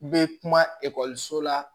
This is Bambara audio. U bɛ kuma ekɔliso la